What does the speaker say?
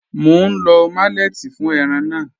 Mọ̀ n lọ malẹ̀tí fún ẹ̀ràn náà.